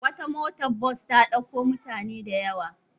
Wata motar bas ta ɗauko mutane da yawa.